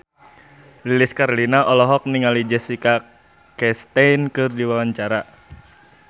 Lilis Karlina olohok ningali Jessica Chastain keur diwawancara